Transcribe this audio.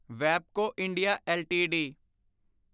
Webco India LTD